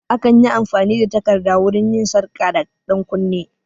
Akan yi amfani da takarda wurin yin sarka da ɗankunne